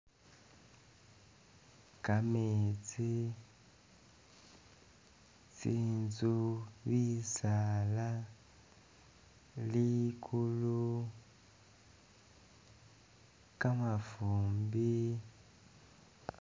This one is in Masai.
Kametsi, tsi'nzu, bisaala, ligulu, kamafumbi